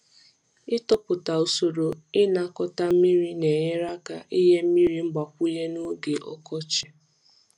Ịtụpụta usoro ịnakọta mmiri na-enyere aka inye mmiri mgbakwunye n’oge ọkọchị.